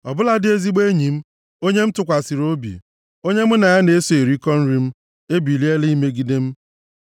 Ọ bụladị ezigbo enyi m, onye m tụkwasịrị obi, onye mụ na ya na-eso erikọ nri m, ebiliela imegide m.